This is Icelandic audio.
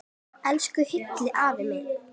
Elsku Hilli afi minn.